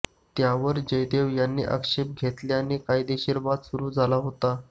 त्यावर जयदेव यांनी आक्षेप घेतल्याने कायदेशीर वाद सुरू झाला होता